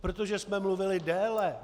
Protože jsme mluvili déle.